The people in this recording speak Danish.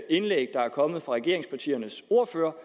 indlæg der er kommet fra regeringspartiernes ordførere